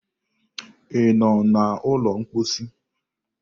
Ị nọ n'ụlọ mposi?